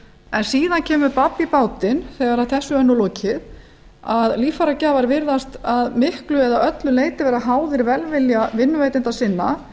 en síðan kemur babb í bátinn þegar þessu er lokið að líffæragjafar virðast að miklu eða öllu leyti vera háðir velvilja vinnuveitenda sinna